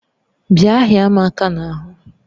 Bịa hịa m aka n'ahụ!